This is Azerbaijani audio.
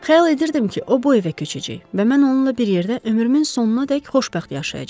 Xəyal edirdim ki, o bu evə köçəcək və mən onunla bir yerdə ömrümün sonunadək xoşbəxt yaşayacam.